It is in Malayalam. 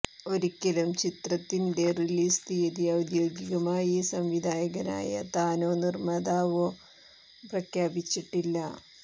ഒരിക്കലും ചിത്രത്തിന്റെ റിലീസ് തീയതി ഔദ്യോഗികമായി സംവിധായകനായ താനോ നിര്മ്മാതാവോ പ്രഖ്യാപിച്ചിട്ടില്ല